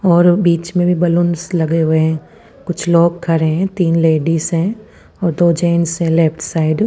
- और बिच में भी बलून लगे हुए है कुछ लोग खरे है तिन लेडीज है और दो जेन्स है लेफ्ट साइड --